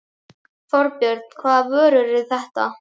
Þorbjörn: Hvaða vörur eru þetta?